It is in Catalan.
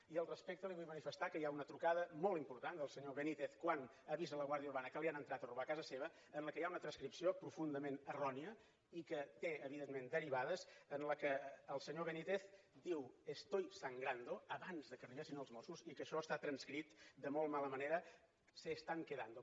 i al respecte li vull manifestar que hi ha una trucada molt important del senyor benítez quan avisa la guàrdia urbana que li han entrat a robar a casa seva en què hi ha una transcripció profundament errònia i que té evidentment derivades en què el senyor benítez diu estoy sangrando abans que arribessin els mossos i que això està transcrit de molt mala manera se están quedando